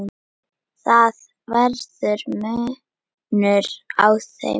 Það verður munur á þeim.